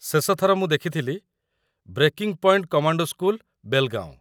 ଶେଷଥର ମୁଁ ଦେଖିଥିଲି "breaking point commando school, Belgaum".